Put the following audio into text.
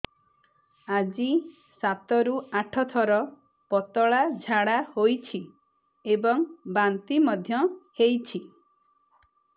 ଆଜି ସାତରୁ ଆଠ ଥର ପତଳା ଝାଡ଼ା ହୋଇଛି ଏବଂ ବାନ୍ତି ମଧ୍ୟ ହେଇଛି